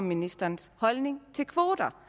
ministerens holdning til kvoter